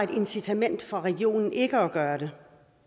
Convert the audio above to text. incitament for regionen ikke at gøre det